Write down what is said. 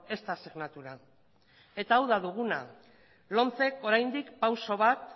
esta asignatura eta hau da duguna lomcek oraindik pausu bat